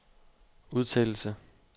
udtalelse